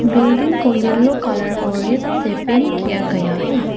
Building को yellow colour और red से पेंट किया गया है।